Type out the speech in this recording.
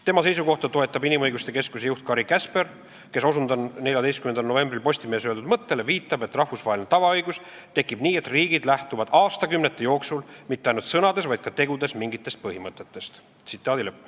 Tema seisukohta toetab inimõiguste keskuse juht Kari Käsper, kes viitab, et rahvusvaheline tavaõigus tekib nii, et riigid lähtuvad aastakümnete jooksul – mitte ainult sõnades, vaid ka tegudes – mingitest põhimõtetest.